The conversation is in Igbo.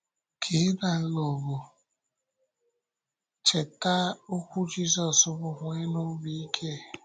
Ka ị na-alụ ọgụ a, cheta okwu Jisọs bụ́, “Nwénụ obi ike!”